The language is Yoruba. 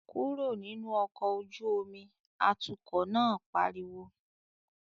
"Kúrò nínú ọkọ̀ ojú omi!", atukọ̀ náà pariwo